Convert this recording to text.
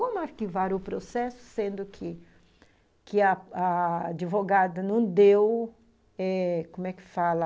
Como arquivar o processo, sendo que que a advogada não deu, como é que fala,